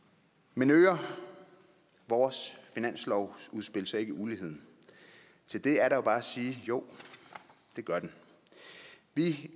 men øger vores finanslovsudspil så ikke uligheden til det er der bare at sige jo det gør det